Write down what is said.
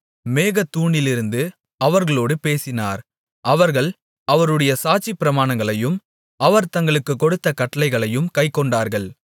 மேகத்தூணிலிருந்து அவர்களோடு பேசினார் அவர்கள் அவருடைய சாட்சிப்பிரமாணங்களையும் அவர் தங்களுக்குக் கொடுத்த கட்டளையையும் கைக்கொண்டார்கள்